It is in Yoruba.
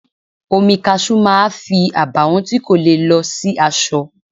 Omi Kaṣú máa fi àbàwọ́n tí kò le lọ sí aṣọ.